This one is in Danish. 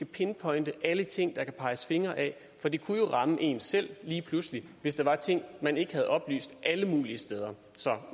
pinpointe alle ting der kan peges fingre ad for det kunne jo ramme en selv lige pludselig hvis der var ting man ikke havde oplyst alle mulige steder så